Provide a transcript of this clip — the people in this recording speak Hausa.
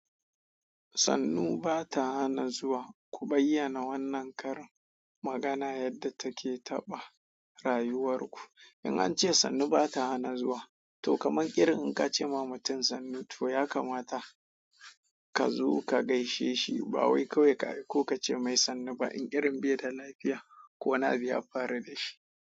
Sannu ba ta hana zuwa. Ku bayyana wannan karin magana yadda take taɓa rayuwar ku. In an ce sannu ba ta hana zuwa, to kaman irin in ka ce ma mutum sannu, to ya kamata ka zo ka gaishe shi ba wai kawai ka ko ka ce mai sannu ba. In irin bai da lafiya ko wani abu ya faru da shi.